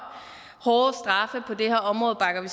hårde straffe på det her område bakker vi